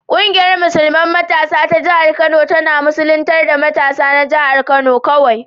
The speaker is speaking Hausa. Ƙungiyar musulman matasa ta jihar Kano ta musulman matasan jihar Kano ce kawai.